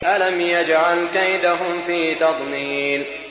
أَلَمْ يَجْعَلْ كَيْدَهُمْ فِي تَضْلِيلٍ